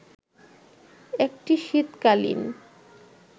একটি শীতকালীন